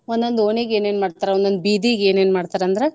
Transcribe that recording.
ಒಂದೊಂದ್ ಓಣಿಗೇ ಏನೇನ್ ಮಾಡ್ತರಾ ಒಂದೊಂದ್ ಬೀದಿಗೆ ಏನೇನ್ ಮಾಡ್ತಾರಾ ಅಂದ್ರ.